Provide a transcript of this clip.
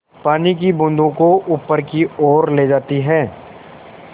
पानी की बूँदों को ऊपर की ओर ले जाती है